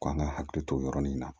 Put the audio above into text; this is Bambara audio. Ko an ka hakili to o yɔrɔnin na